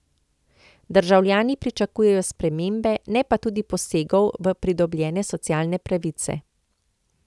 Državljani pričakujejo spremembe, ne pa tudi posegov v pridobljene socialne pravice.